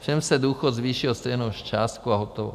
Všem se důchod zvýší o stejnou částku a hotovo.